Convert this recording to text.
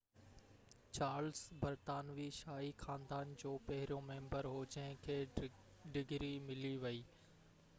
Charles برطانوي شاهي خاندان جو پهريون ميمبر هو جنهن کي ڊگري ملي وئي